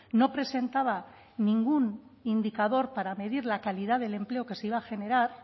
no presentaba ningún indicador para medir la calidad del empleo que se iba a generar